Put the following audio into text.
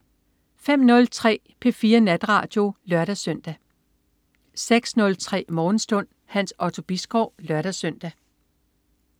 05.03 P4 Natradio (lør-søn) 06.03 Morgenstund. Hans Otto Bisgaard (lør-søn)